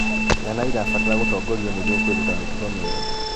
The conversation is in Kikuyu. Ciana irabatara gũtongorio nĩguo kwĩruta mĩtugo mĩega